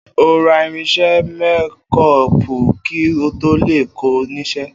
O óò ra irins̩é̩ mékó̩ò̩pù kí n tó lè kó̩ o̩ nís̩̩é̩